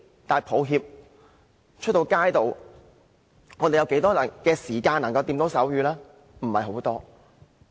但抱歉，在街上，我們有多少時間可以接觸手語呢？